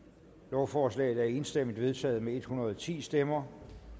lovforslaget er enstemmigt vedtaget med en hundrede og ti stemmer